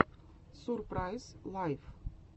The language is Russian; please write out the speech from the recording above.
сурпрайз лайф